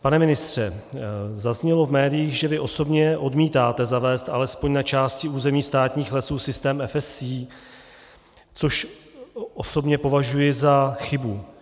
Pane ministře, zaznělo v médiích, že vy osobně odmítáte zavést alespoň na části území státních lesů systém FSC, což osobně považuji za chybu.